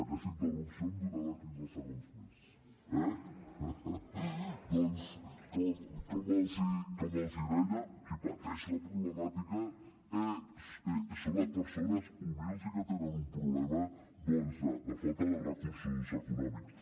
aquesta interrupció em donarà quinze segons més eh doncs com els hi deia qui pateix la problemàtica són les persones humils i que tenen un problema de falta de recursos econòmics